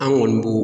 An kɔni b'o